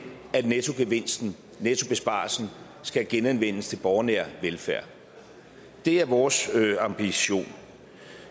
at nettogevinstennettobesparelsen skal genanvendes til borgernær velfærd det er vores ambition